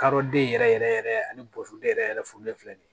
Kadɔden yɛrɛ yɛrɛ yɛrɛ yɛrɛ ani boden yɛrɛ yɛrɛ furulen filɛ ni ye